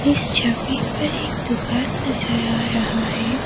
इस छवि पर एक दुकान नजर आ रहा है।